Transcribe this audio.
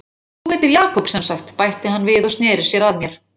Og þú heitir Jakob semsagt, bætti hann við og sneri sér að mér.